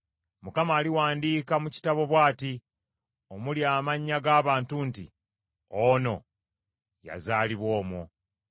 Mukama aliwandiika mu kitabo bw’ati, omuli amannya g’abantu nti, “Ono yazaalibwa omwo.”